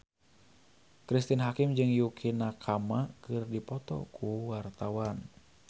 Cristine Hakim jeung Yukie Nakama keur dipoto ku wartawan